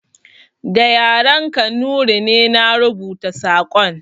Da yaren Kanuri ne na rubuta saƙon